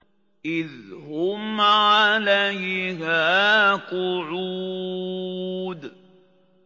إِذْ هُمْ عَلَيْهَا قُعُودٌ